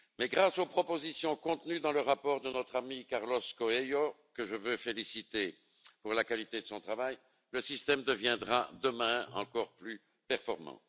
Grâce aux propositions contenues dans le rapport de notre ami Carlos Coelho, que je veux féliciter pour la qualité de son travail, le système deviendra demain encore plus performant.